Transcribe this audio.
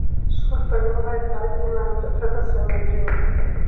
Suurtagal ma tahay in jacayl la sameeyo jinni?